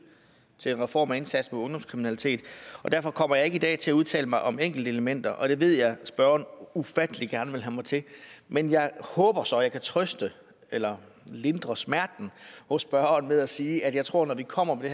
til en reform af indsatsen mod ungdomskriminalitet derfor kommer jeg ikke i dag til at udtale mig om enkeltelementer og det ved jeg at spørgeren ufattelig gerne vil have mig til men jeg håber så at jeg kan trøste eller lindre smerten for spørgeren ved at sige at jeg tror at når vi kommer med